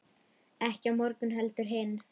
Ekki á morgun heldur hinn.